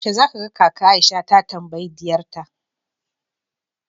yaushe zaka ga kaka Aisha ta tambayi diyarta